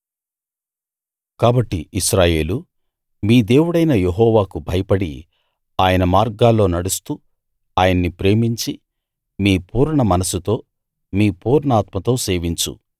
కాబట్టి ఇశ్రాయేలూ మీ దేవుడైన యెహోవాకు భయపడి ఆయన మార్గాల్లో నడుస్తూ ఆయన్ని ప్రేమించి మీ పూర్ణ మనస్సుతో మీ పూర్ణాత్మతో సేవించు